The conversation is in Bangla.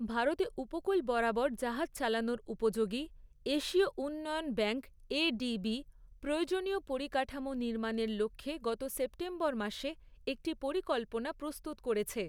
ভারতে উপকূল বরাবর জাহাজ চালানোর উপযোগী, এশীয় উন্নয়ন ব্যাঙ্ক এডিবি, প্রয়োজনীয় পরিকাঠামো নির্মাণের লক্ষ্যে গত সেপ্টেম্বর মাসে একটি পরিকল্পনা প্রস্তুত করেছে।